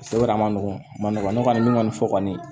Se yɛrɛ a ma nɔgɔn a ma nɔgɔn ne kɔni mi kɔni fɔ kɔni